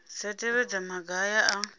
dza tevhedza maga aya a